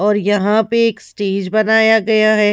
और यहां पे एक स्टेज बनाया गया है।